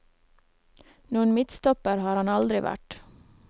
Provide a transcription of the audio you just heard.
Noen midtstopper har han aldri vært.